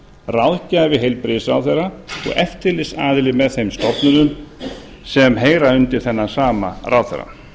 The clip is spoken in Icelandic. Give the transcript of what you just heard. ráðgjafi heilbrigðisráðherra og eftirlitsaðili með þeim stofnunum sem heyra undir þennan sama ráðherra